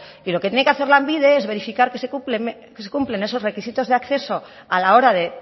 y lo que tiene que hacer lanbide es verificar que se cumplen esos requisitos de acceso a la hora de